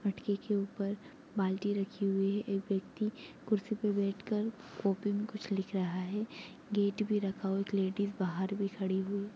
मटके के ऊपर बाल्टी रखी हुई है एक व्यक्ति कुर्सी पे बैठ कर कॉपी मे कुछ लिख रहा है गेट भी रखा हुआ एक लेडिस बाहर भी खड़ी हुई--